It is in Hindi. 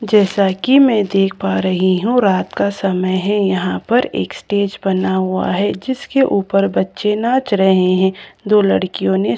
जैसा कि मैं देख पा रही हूं रात का समय है यहां पर एक स्टेज बना हुआ है जिसके ऊपर बच्चे नाच रहे हैं दो लड़कियों ने--